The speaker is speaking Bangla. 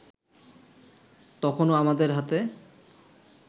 তখনো আমাদের হাতে